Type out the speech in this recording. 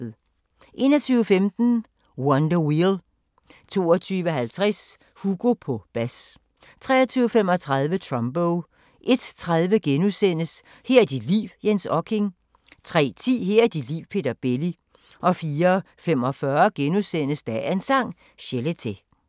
21:15: Wonder Wheel 22:50: Hugo på bas 23:35: Trumbo 01:30: Her er dit liv – Jens Okking * 03:10: Her er dit liv – Peter Belli 04:45: Dagens Sang: Chelete *